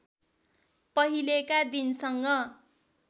पहिलेका दिनसँग